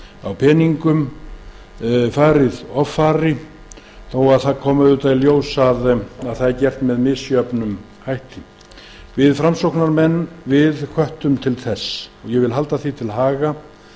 á peningum þó að það komi í ljós að það var gert með misjöfnum hætti við framsóknarmenn hvöttum ríkisstjórnina strax til þess ég vil halda því til haga